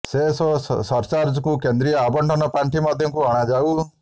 cess ଓ ସରଚାର୍ଜକୁ କେନ୍ଦ୍ରୀୟ ଆବଣ୍ଟନ ପାଣ୍ଠି ମଧ୍ୟକୁ ଅଣାଯାଉ